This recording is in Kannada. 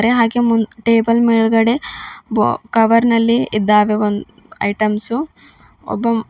ಹಾಗೆ ಮುಂದ್ ಟೇಬಲ್ ಮೇಲ್ಗಡೆ ಬೊ ಕವರ್ ನಲ್ಲಿ ಇದ್ದಾವೆ ಒಂದ್ ಇಟಮ್ಸ್ ಒಬ್ಬ ಮ --